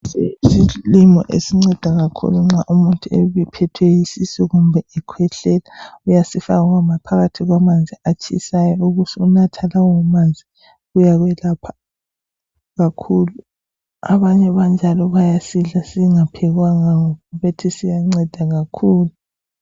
Lesi yisilimo esinceda kakhulu nxa umuntu ephethwe yisisu kumbe ekhwehlela. Uyasifaka phakathi kwamanzi atshisayo ubusunatha lawo manzi. Uyakwelapha kakhulu. Abanye banjalo bayasidla singaphekwanga ngoba bethi siyanceda kakhulu.